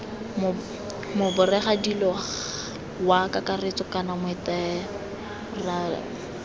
moboregadiri wa kakaretso kana moatemerale